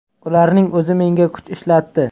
Ularning o‘zi menga kuch ishlatdi.